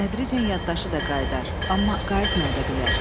Tədricən yaddaşı da qayıdar, amma qayıtmaya da bilər.